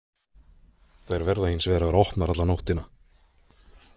Þær verða hins vegar að vera opnar alla nóttina.